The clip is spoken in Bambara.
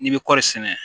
N'i bɛ kɔri sɛnɛ